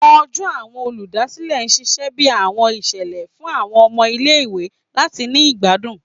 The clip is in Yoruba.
Ọjọ Awọn oludasilẹ ṣiṣẹ bi awọn iṣẹlẹ fun awọn ọmọ ile-iwe lati ni igbadun